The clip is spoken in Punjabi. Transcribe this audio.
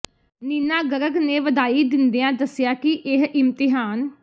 ਨੀਨਾ ਗਰਗ ਨੇ ਵਧਾਈ ਦਿੰਦਿਆਂ ਦੱਸਿਆ ਕਿ ਇਹ ਇਮਤਿਹਾਨ